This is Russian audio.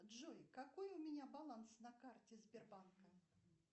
джой какой у меня баланс на карте сбербанка